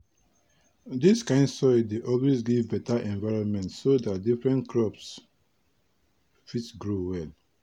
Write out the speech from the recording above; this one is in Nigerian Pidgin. dis kind soil dey always give beta environment so dat different crops fit grow well.